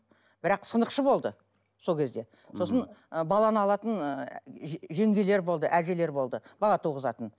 бірақ сынықшы болды сол кезде сосын ы баланы алатын жеңгелер болды әжелер болды бала туғызатын